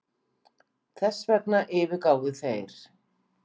Þessvegna yfirgáfu þeir